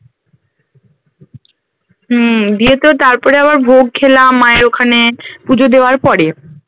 হম দিয়ে তো তারপরে আবার ভোগ খেলাম মায়ের ওখানে পুজো দেওয়ার পরে